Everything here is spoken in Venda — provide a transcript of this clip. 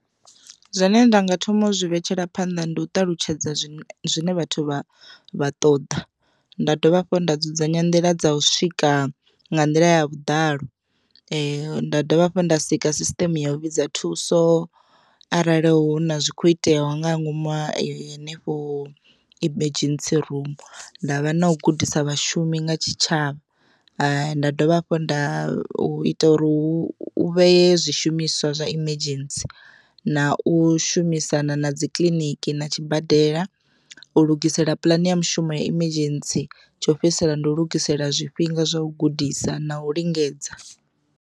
Zwine ndanga thoma uzwi vhetshela phanḓa ndi u ṱalutshedza zwine vhathu vha ṱoḓa nda dovha hafhu nda dzudzanya nḓila dza u swika nga nḓila ya vhudalo, nda dovha hafhu nda sika sisiṱeme ya u vhidza thuso arali hu na zwi kho iteaho nga ngomu henefho emergency rumu. Ndavha na u gudisa vhashumi nga tshitshavha nda dovha hafhu nda hu ita uri u vhee zwi zwiimiswa zwa emergency na u shumisana na dzi kiḽiniki na tshibadela u lugisela puḽane ya mushumo ya emergency tsho fhedzisela ndi u lugisela zwifhinga zwa u gudisa na u lingedza.